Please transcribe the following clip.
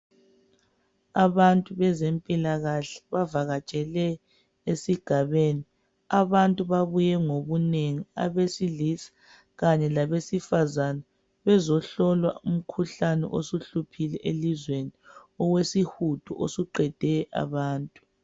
Abantu bezempilakahle bavakatshele esigabeni. Abantu babuye ngobunengi abesilisa kanye labesifazana bezohlolwa umkhuhlane osuhluphile elizweni owesihudo osuqede abantu.